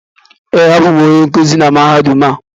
Ee, abụ m onye nkuzi na Mahadum a